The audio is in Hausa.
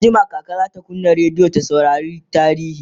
anjima kaka zata kunna rediyo ta saurari tarihi